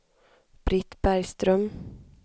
Britt Bergström